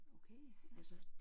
Okay ja